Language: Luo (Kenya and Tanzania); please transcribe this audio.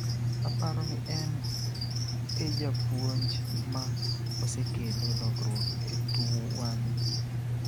Aparo ni en e japuonj ma osekelo lokruok e tuwani.